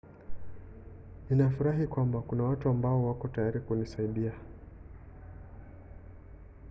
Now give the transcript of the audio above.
nafurahi kwamba kuna watu ambao wako tayari kunisaidia